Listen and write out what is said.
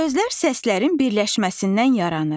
Sözlər səslərin birləşməsindən yaranır.